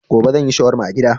Gobe zan yi shawarma a gida.